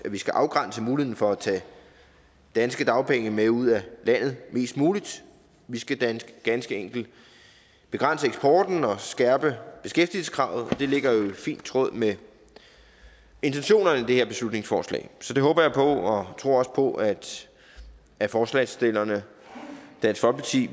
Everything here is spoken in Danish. vi skal afgrænse muligheden for at tage danske dagpenge med ud af landet mest muligt vi skal ganske ganske enkelt begrænse eksporten og skærpe beskæftigelseskravet og det ligger jo i fin tråd med intentionerne i det her beslutningsforslag så det håber jeg på og tror også på at at forslagsstillerne dansk folkeparti